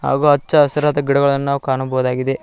ಹಾಗೂ ಹಚ್ಚಹಸಿರಾದ ಗಿಡಮರಗಳನ್ನು ನಾವು ಕಾಣಬಹುದಾಗಿದೆ.